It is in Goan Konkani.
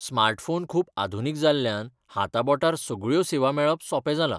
स्मार्टफोन खूब आधुनीक जाल्ल्यान हाताबोटार सगळ्यो सेवा मेळप सोपें जालां.